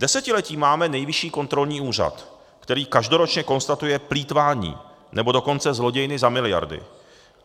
Desetiletí máme Nejvyšší kontrolní úřad, který každoročně konstatuje plýtvání, nebo dokonce zlodějny za miliardy.